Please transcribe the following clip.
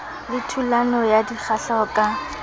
le thulano ya dikgahleho ka